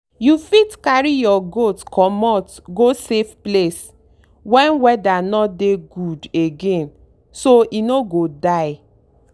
you fit carry your goat comot go safe place when weather no dey good againso e no go die.